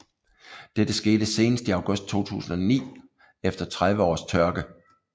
Dette skete senest i august 2009 efter 30 års tørke